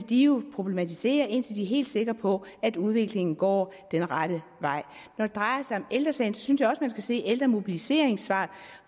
de jo vil problematisere indtil de er helt sikre på at udviklingen går den rette vej når det drejer sig om ældre sagen synes jeg også man skal se på ældremobiliseringens svar